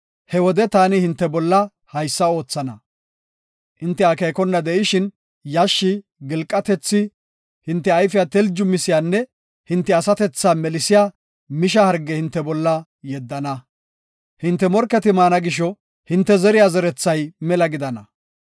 he wode taani hinte bolla haysa oothana; hinte akeekona de7ishin yashshi, gilqatethi, hinte ayfiya teljumisiyanne hinte asatethaa melisiya misha harge hinte bolla yeddana. Hinte morketi maana gisho hinte zeriya zerethay mela gidana.